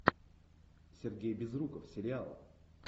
сергей безруков сериал